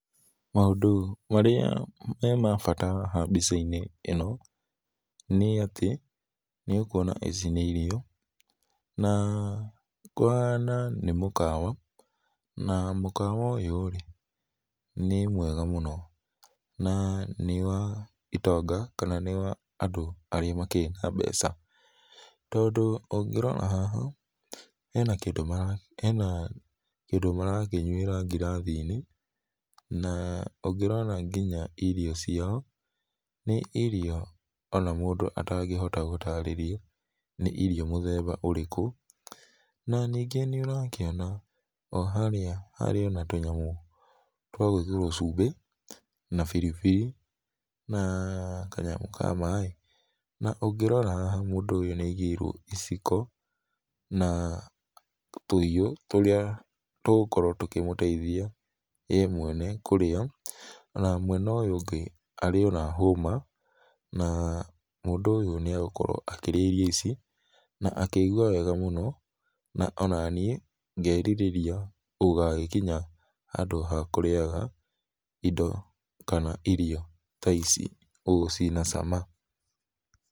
Maũndũ marĩa me ma bata haha mbĩca ici ino, nĩ atĩ, nĩ ũkũona nĩ atĩ nĩ ũkũona ici nĩ irio, na kũhana nĩ mũkawa ,na mũkawa ũyũ nĩ mwega mũno, na nĩ wa itonga kana nĩ wa andũ arĩa makĩrĩ na mbeca, tondũ ũgĩ rora haha hena hena kĩndũ marakĩnyũĩra gĩrathĩ-inĩ ,ũngĩrora ngĩnya irio ciao nĩ irio ona mũndũ atagĩhota gũarĩrĩa nĩ irio mũthemba ũrĩkũ na nĩ nĩnge nĩ ũrakĩona o harĩa hena tũnyamũ twa gwĩkĩrĩo cumbĩ na biribiri na kanyamũ ka maĩ, na ũngĩrora haha mũndũ ũyũ nĩ agĩirwo iciko na tũhĩũ tũrĩa tũgũkorwo tũkĩmũteĩthĩa ye mwene kũrĩa na mwena ũyũ ũgĩ arĩo na homa na mũndũ ũyũ nĩa gũkorwo akĩrĩa irio ici na akĩigũa wega mũno na onanĩe ngerĩrĩa gũgagĩkĩnya haandũ ha kũrĩaga ĩndo, kana irio ta ici ũgũo cina cama.